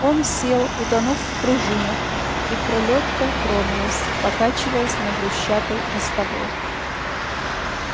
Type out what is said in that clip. он сел утонув в пружинах и пролётка тронулась покачиваясь на брусчатой мостовой